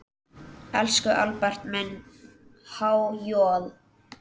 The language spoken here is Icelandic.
Elsku Albert minn, há joð.